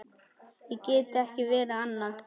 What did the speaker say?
Ég get ekki verið annað.